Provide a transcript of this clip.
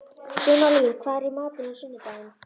Sumarlín, hvað er í matinn á sunnudaginn?